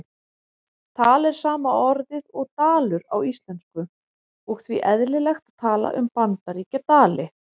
Tal er sama orðið og dalur á íslensku og því eðlilegt að tala um Bandaríkjadali.